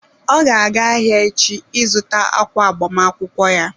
Ọ ga-aga ahịa echi ị zụta ákwà agbamakwụkwọ ya.